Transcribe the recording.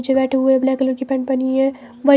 पीछे बैठे हुए ब्लैक कलर की पैंट पहनी है।